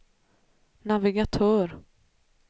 navigatör